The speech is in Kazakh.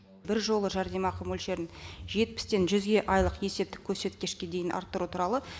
бір жолы жәрдемақы мөлшерін жетпістен жүзге айлық есептік көрсеткешке дейін арттыру туралы